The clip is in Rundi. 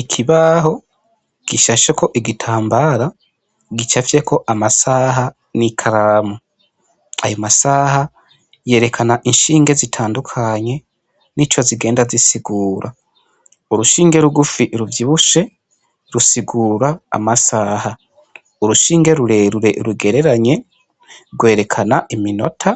Ikibaho gishasheko igitambara gicafyeko amasaha n'ikaramu, ayo masaha yerekana inshinge zitandukanye nico zigenda zisigura urushinge rugufi ruvyibushe rusigura amasaha, urushinge rurerure rugereranye rwerekana iminota